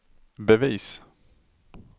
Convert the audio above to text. bevis